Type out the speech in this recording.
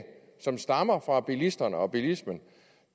som stammer fra bilisterne og bilismen